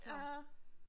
Ja